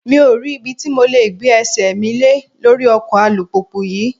Mi ò rí ibi tí mo le gbé ẹsẹ̀ mi lé lórí ọkọ̀ alùpùpù yí.